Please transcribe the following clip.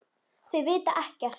Þau vita ekkert.